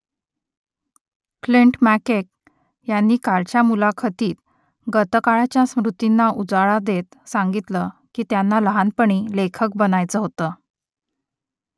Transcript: Clint McKay यांनी कालच्या मुलाखतीत गतकाळातल्या स्मृतींना उजाळा देत सांगितलं की त्यांना लहानपणी लेखक बनायचं होतं